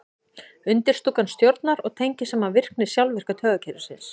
undirstúkan stjórnar og tengir saman virkni sjálfvirka taugakerfisins